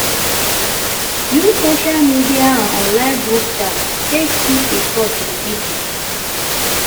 use social media and online group chat take keep in touch with pipo